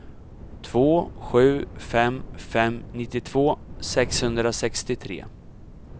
två sju fem fem nittiotvå sexhundrasextiotre